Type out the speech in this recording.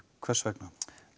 hvers vegna